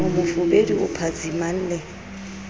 o mofubedu o phatsimang le